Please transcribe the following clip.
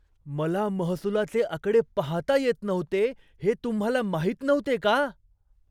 मला महसुलाचे आकडे पाहता येत नव्हते हे तुम्हाला माहीत नव्हते का?